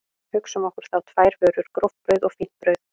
Hugsum okkur þá tvær vörur, gróft brauð og fínt brauð.